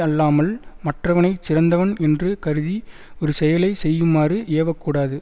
அல்லாமல் மற்றவனை சிறந்தவன் என்று கருதி ஒரு செயலை செய்யுமாறு ஏவ கூடாது